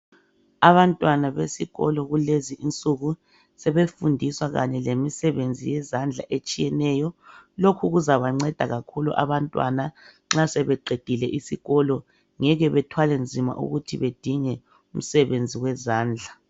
Abantwana besikolo kulezi insuku sebefundiswa kanye lemisebenzi yezandla etshiyeneyo. Lokhu kuzabanceda kakhulu abantwana nxa sebeqedile isikolo. Ngeke bethwale nzima ukuthi bedinge umsebenzi wezandla.